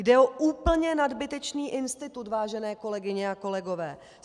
Jde o úplně nadbytečný institut, vážené kolegyně a kolegové.